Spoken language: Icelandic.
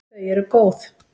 Þau eru góð.